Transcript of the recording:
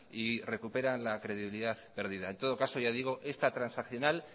y recuperan la credibilidad perdida en todo caso ya digo esta transaccional